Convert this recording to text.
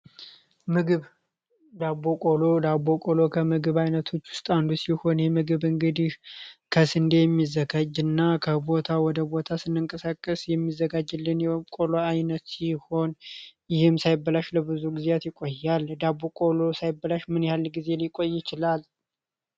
ምግብ ዳቦ ቆሎ ዳቦ ቆሎ ከምግብ አይነቶች ውስጥ አንዱ ሲሆን ይህ ምግብ እንግዲህ ከስንዴ የሚዘጋጅ እና ከቦታ ወደ ቦታ ስንንቀሳቀስ የሚዘጋጅልን የቆሎ አይነት ሲሆን ይህም ሳይበላሽ ለብዙ ቀናት ይቆያል። ዳቦ ቆሎ ሳይበላሽ ለምን ያህል ጊዜ ይቆያል?